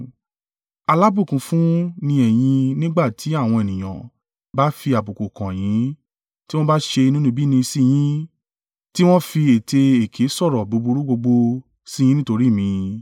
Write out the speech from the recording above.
“Alábùkún fún ni ẹ̀yin nígbà tí àwọn ènìyàn bá fi àbùkù kàn yín tí wọn bá ṣe inúnibíni sí yín, tiwọn fi ètè èké sọ̀rọ̀ búburú gbogbo sí yín nítorí mi.